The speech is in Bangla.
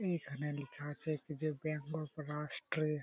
এখানে লিখা আছে কি যে ব্যাঙ্ক অফ রাষ্ট্রে--